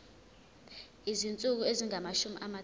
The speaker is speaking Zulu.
izinsuku ezingamashumi amathathu